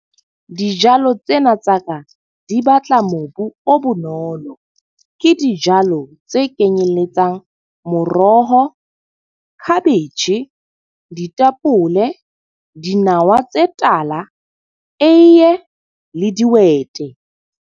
Dijalo tsena tsa ka di batla mobu o bonolo. Ke dijalo tse kenyelletsang moroho, khabetjhe, ditapole, dinawa tse tala, eiye le dihwete.